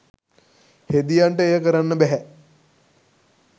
හෙදියන්ට එය කරන්න බැහැ.